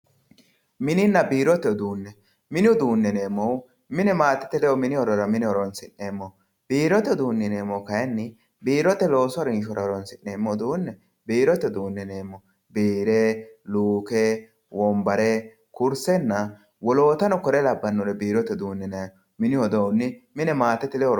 Mininna birote udune mini udune yinemohu mine matete ledo mine horonsinemoho birote udune yinemohu kayini biroye loosu harishora horonsinemo uduni birote udune yinemo bire luke wonbare kurisena wolotano kore labanore birote udune yinayi mini iduni mine matete ledo horonsinayi